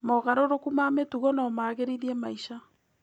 Mogarũrũku ma mĩtugo no magĩrithie maica.